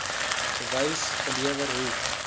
bewys gelewer hoe